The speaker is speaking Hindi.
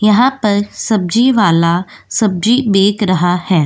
यहाँ पर सब्जी वाला सब्जी बेक रहा है।